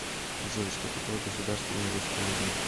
джой что такое государственный русский музей